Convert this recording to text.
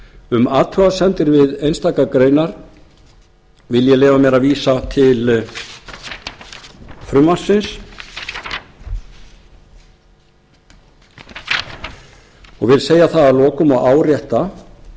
um athugasemdir við einstaka greinar vil ég leyfa mér að vísa til frumvarpsins og vil segja það að lokum og árétta